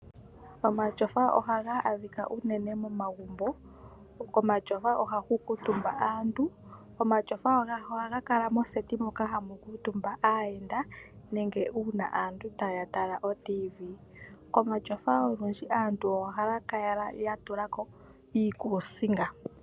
Omatyofa ohaga adhika unene momagumbo. Komatyofa ohaku kutumba aantu . Omatyofa oha gakala moseti moka hamu kuutumba aayenda nenge uuna aantu taya tala otiivi . Komatyofa olundji aantu ohaya kala yatulako iikusinga .